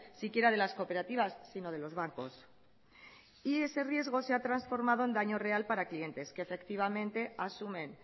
siquiera de las cooperativas sino de los bancos y ese riesgo se ha transformado en daño real para clientes que efectivamente asumen